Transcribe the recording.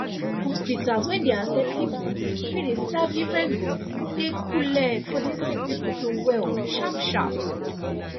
hospitas wen dey accept people wey dey serve differefent gods dey cooleee for the sick pple to well sharp sharp